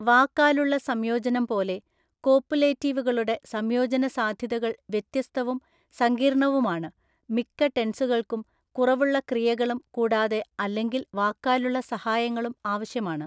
വാക്കാലുള്ള സംയോജനം പോലെ, കോപ്പുലേറ്റീവുകളുടെ സംയോജന സാധ്യതകൾ വ്യത്യസ്തവും സങ്കീർണ്ണവുമാണ്, മിക്ക ടെൻസുകൾക്കും കുറവുള്ള ക്രിയകളും കൂടാതെ/അല്ലെങ്കിൽ വാക്കാലുള്ള സഹായങ്ങളും ആവശ്യമാണ്.